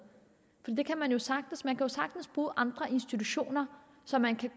det kan man jo sagtens man kan jo sagtens bruge andre institutioner så man kan